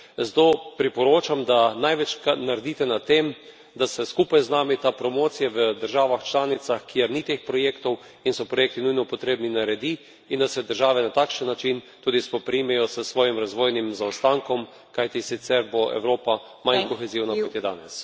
Zato priporočam, da največ naredite na tem, da se skupaj z nami ta promocija v državah članicah, kjer ni teh projektov in so projekti nujno potrebni, naredi in da se države na takšen način tudi spoprimejo s svojim razvojnim zaostankom, kajti sicer bo Evropa manj kohezivna, kot je danes.